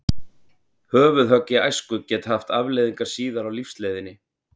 Höfuðhögg í æsku geta haft afleiðingar síðar á lífsleiðinni.